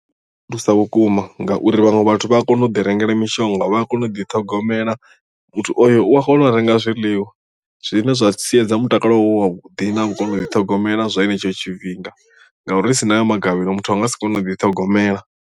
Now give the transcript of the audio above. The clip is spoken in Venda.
U thusa vhukuma ngauri vhaṅwe vhathu vha a kona u ḓi rengela mishonga vha a kona u ḓiṱhogomela muthu oyo u a kona u renga zwiḽiwa zwine zwa siedza mutakalo wawe u vhuḓi na u kona u ḓi ṱhogomela zwa henetsho tshifhinga ngauri ri si na ayo magavhelo muthu a nga si kone u ḓiṱhogomela.